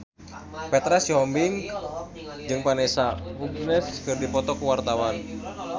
Petra Sihombing jeung Vanessa Hudgens keur dipoto ku wartawan